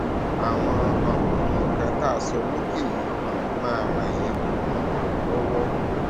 àwọn um nǹkan tá a sọ lókè yìí um máa ràn ẹ um lọwọ